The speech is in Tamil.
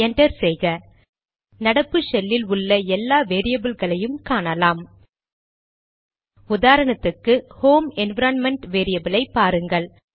என்டர் செய்க நடப்பு ஷெல்லில் உள்ள எல்லா வேரியபில்களையும் காணலாம் உதாரணத்துக்கு ஹோம் என்விரான்மென்ட் வேரியபிலை பாருங்கள்